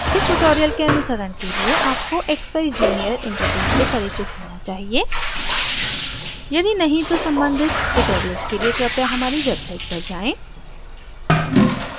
इस tutorial के अनुसरण के लिए आपको expeyes junior interface से परिचित होना चाहिए यदि नहीं तो सम्बन्धित tutorial के लिए कृपया हमारी वेबसाइट पर जाएँ